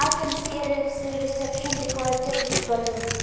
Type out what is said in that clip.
i can see a res reception decorated with balloons.